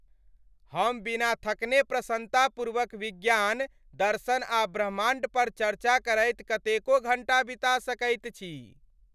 हम बिना थकने प्रसन्नतापूर्वक विज्ञान, दर्शन आ ब्रह्माण्ड पर चर्चा करैत कतेको घण्टा बिता सकैत छी।